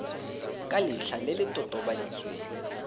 ka letlha le le totobaditsweng